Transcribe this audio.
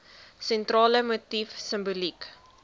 sentrale motief simboliek